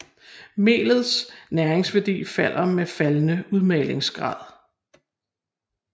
Melets næringsværdi falder med faldende udmalingsgrad